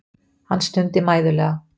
Hann stundi mæðulega.